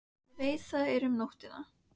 Ég veit það var um nóttina.